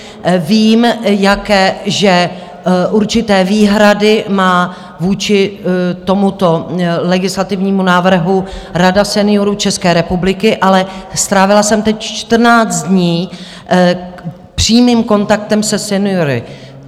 Vím, jaké určité výhrady má vůči tomuto legislativnímu návrhu Rada seniorů České republiky, ale strávila jsem teď 14 dní přímým kontaktem se seniory.